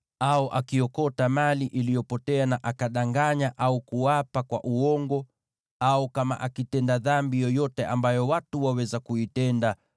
au akiokota mali iliyopotea na akadanganya, au kuapa kwa uongo, au kama akitenda dhambi yoyote ambayo watu waweza kuitenda;